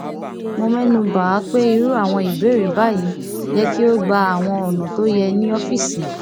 mo mẹnubà á pé irú àwọn ìbéèrè báyìí yẹ kí ó gba àwọn ònà tó yẹ ní ọfíìsì